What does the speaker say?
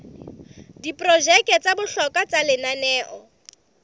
diprojeke tsa bohlokwa tsa lenaneo